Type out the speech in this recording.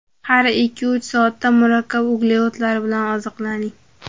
Har ikkiuch soatda murakkab uglevodlar bilan oziqlaning.